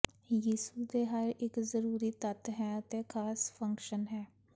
ਯਿਸੂ ਦੇ ਹਰ ਇੱਕ ਜ਼ਰੂਰੀ ਤੱਤ ਹੈ ਅਤੇ ਖਾਸ ਫੰਕਸ਼ਨ ਹੈ